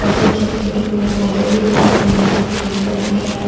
और कुछ छोटे-छोटे पेड़-पौधे भी दिखाई दे रहे हैं जो ग्रीन कलर के हैं।